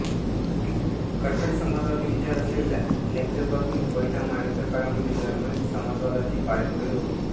कट्टर समाजवादी विचार असलेल्या लक्झेंबर्गने पहिल्या महायुद्धकाळामध्ये जर्मनीत समाजवादाची पाळेमुळे रोवली